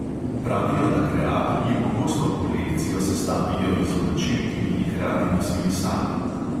Pravijo, da kreatorji pogosto kolekcijo sestavijo iz oblačil, ki bi jih radi nosili sami.